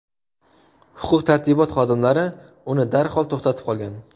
Huquq-tartibot xodimlari uni darhol to‘xtatib qolgan.